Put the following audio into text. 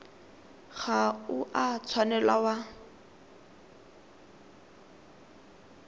ga o a tshwanela wa